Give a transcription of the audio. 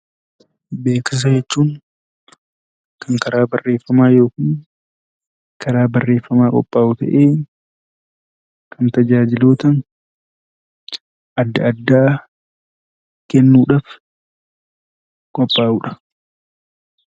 Beeksisa jechuun kan karaa barreeffamaa yookiin karaa barreeffamaa qophaa'u ta'ee, kan tajaajiloota adda addaa kennuu dhaaf qophaa'u dha.